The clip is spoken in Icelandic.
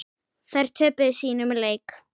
Þær töpuðu sínum leik.